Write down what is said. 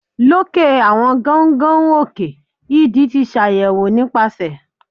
loke awọn gaungaun òke idì ti ṣayẹwo nipasẹ